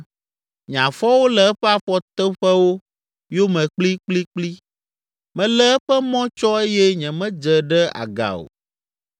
Nye afɔwo le eƒe afɔtoƒewo yome kplikplikpli, melé eƒe mɔ tsɔ eye nyemedze ɖe aga o.